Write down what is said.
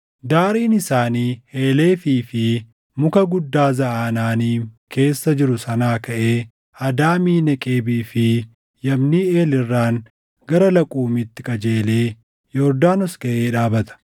Daariin isaanii Heelefii fi muka guddaa Zaʼaanaaniim keessa jiru sanaa kaʼee Adaamii Neqebii fi Yabniʼeel irraan gara Laquumiitti qajeelee Yordaanos gaʼee dhaabata.